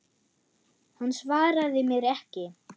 Hann svaraði mér ekki.